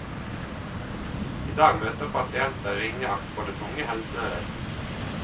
I dag møter pasienter ringeakt fra det tunge helsevesen.